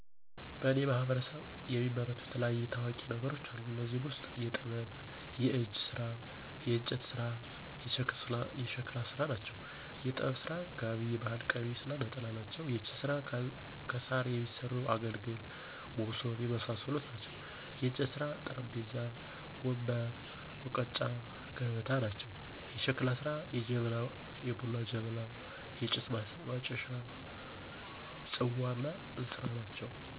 በእኔ ማህበረሰብ የሚመረቱ የተለያዩ ታዋቂ ነገሮች አሉ። ከእኔዚህ ውስጥ የጥበብ፣ የእጅ ስራ፣ የእንጨት ስራ እና የሸክላ ስራ ናቸው። -የጥበብ ስራ፦ ጋቢ የባህል ቀሚስ እና ነጠላ ናቸው። -የእጅ ስራ፦ ከሳር የሚሠሩ አገልግል እና ሞሠብ የመሳሠሉ ናቸው። -የእንጨት ስራ፦ ጠረጴዛ፣ ወንበር፣ ሙቀጫ እና ገበታ ናቸው። -የሸክላ ስራ፦ የቡና ጀበና፣ የጭስ ማጨሻ፣ ፅዋ እና እንስራ ናቸው